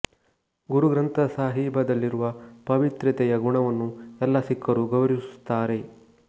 ಗುರು ಗ್ರಂಥ ಸಾಹೀಬದಲ್ಲಿರುವ ಪಾವಿತ್ರ್ಯತೆಯ ಗುಣವನ್ನು ಎಲ್ಲ ಸಿಖ್ಖರು ಗೌರವಿಸುತ್ತಾರೆ